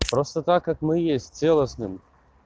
просто так как мы есть целостным